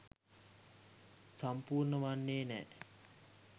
සම්පූර්ණ වන්නේ නෑ.